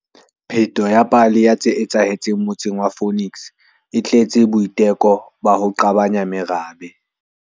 Pheto ya pale ya tse etsahetseng motseng wa Phoenix e tletse boiteko ba ho qabanya merabe.